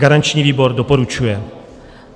Garanční výbor doporučuje.